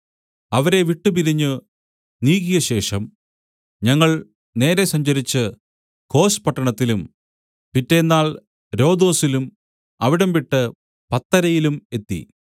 അവരെ വിട്ടുപിരിഞ്ഞ് നീക്കിയശേഷം ഞങ്ങൾ നേരെ സഞ്ചരിച്ച് കോസ് പട്ടണത്തിലും പിറ്റെന്നാൾ രൊദൊസിലും അവിടംവിട്ട് പത്തരയിലും എത്തി